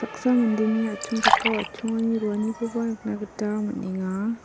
mandeni atchongchakao atchongani roanikoba nikna gita man·enga.